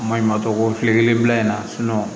Maɲuman tɔ ko kile kelen bila in na